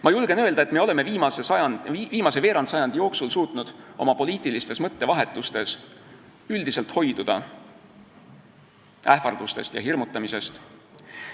Ma julgen öelda, et me oleme viimase veerandsajandi jooksul suutnud oma poliitilistes mõttevahetustes üldiselt hoiduda ähvardustest ja hirmutamisest.